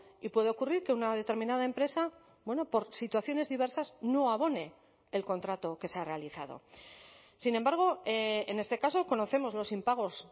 y puede ocurrir que una determinada empresa bueno por situaciones diversas no abone el contrato que se ha realizado sin embargo en este caso conocemos los impagos